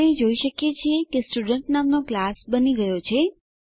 આપણે જોઈ શકીએ છીએ કે સ્ટુડન્ટ નામનો ક્લાસ બની ગયો છે